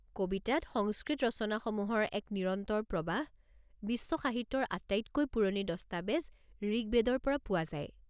কবিতাত সংস্কৃত ৰচনাসমূহৰ এক নিৰন্তৰ প্ৰৱাহ বিশ্ব সাহিত্যৰ আটাইতকৈ পুৰণি দস্তাবেজ ঋগ্বেদৰ পৰা পোৱা যায়।